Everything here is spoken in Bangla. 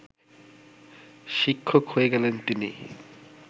শিক্ষক হয়ে গেলেন তিনি